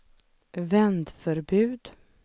vändförbud